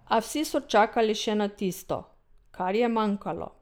A vsi so čakali še na tisto, kar je manjkalo.